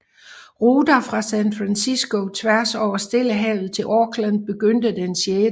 Ruter fra San Francisco tværs over Stillehavet til Auckland begyndte den 6